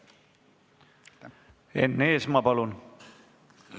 Enn Eesmaa, palun!